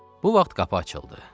Bu vaxt qapı açıldı.